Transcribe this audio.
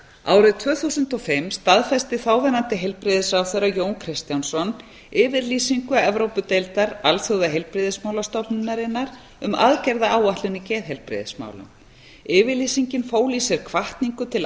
árið tvö þúsund og fimm staðfesti þáverandi heilbrigðisráðherra jón kristjánsson yfirlýsingu evrópudeildar alþjóðaheilbrigðismálastofnunarinnar um aðgerðaáætlun í geðheilbrigðismálum yfirlýsingin fól í sér hvatningu til